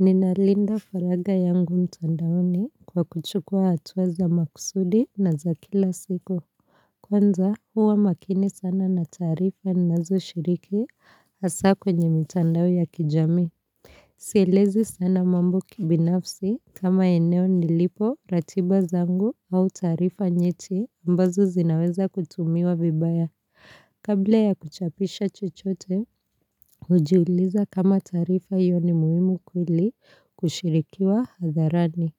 Ninalinda faragha yangu mtandaoni kwa kuchukua hatua za makusudi na za kila siku. Kwanza huwa makini sana na taarifa ninazo shiriki hasa kwenye mitandao ya kijamii. Sielezi sana mambo kibinafsi kama eneo nilipo ratiba zangu au taarifa nyeti ambazo zinaweza kutumiwa vibaya. Kabla ya kuchapisha chochote, hujiuliza kama taarifa iyo ni muhimu kweli kushirikiwa hadharani.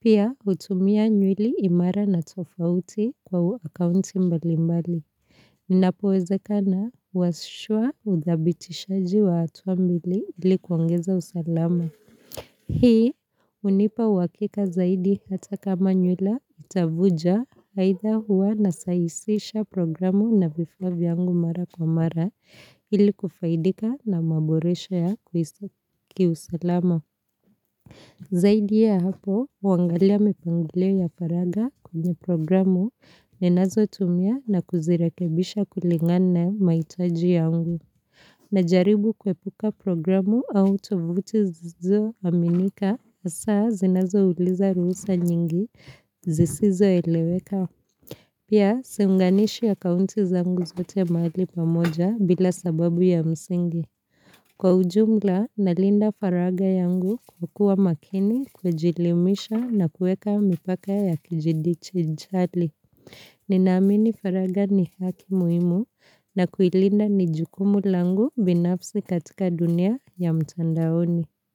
Pia hutumia nywili imara na tofauti kwa akaunti mbali mbali. Ninapowezekana, huasishwa udhabitishaji wa hatua mbili ili kuongeza usalama. Hii hunipa uhakika zaidi hata kama nywila itavuja aidha huwa nasahisisha programu na vifaa vyangu mara kwa mara ili kufaidika na maboresho ya kiusalama. Zaidi ya hapo, huangalia mipangilio ya faragha kwenye programu ninazotumia na kuzirekebisha kulingana na mahitaji yangu. Najaribu kuepuka programu au tovuti zilizo aminika, hasa zinazouliza ruhusa nyingi zisizo eleweka. Pia, siunganishi akaunti zangu zote mahali pamoja bila sababu ya msingi. Kwa ujumla, nalinda faragha yangu kwa kuwa makini kujielimisha na kueka mipaka ya kidigitali. Ninaamini faragha ni haki muhimu na kuilinda ni jukumu langu binafsi katika dunia ya mtandaoni.